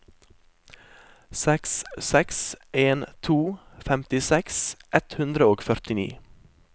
seks seks en to femtiseks ett hundre og førtini